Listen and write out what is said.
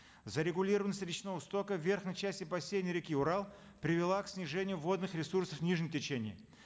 зарегулированность речного стока верхней части бассейна реки урал привела к снижению водных ресурсов в нижнем течении